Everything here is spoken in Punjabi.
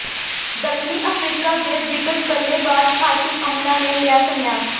ਦੱਖਣੀ ਅਫ਼ਰੀਕਾ ਦੇ ਦਿੱਗਜ ਬੱਲੇਬਾਜ਼ ਹਾਸ਼ਿਮ ਅਮਲਾ ਨੇ ਲਿਆ ਸੰਨਿਆਸ